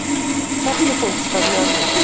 Fjallið bókstaflega logaði.